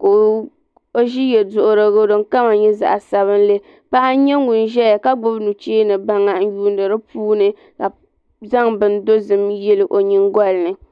ka o ʒi yeduhurigu din kama nyɛ zaɣa sabinli paɣa nyɛ ŋun ʒɛya ka gbibi nucheni baŋa n yuuni dipuuni ka zaŋ bin dozim yili o nyingolini.